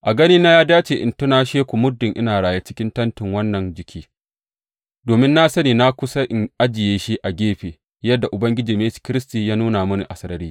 A ganina ya dace in tunashe ku muddin ina raye cikin tentin wannan jiki, domin na sani na kusa in ajiye shi a gefe, yadda Ubangijinmu Yesu Kiristi ya nuna mini a sarari.